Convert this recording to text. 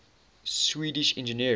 swedish engineers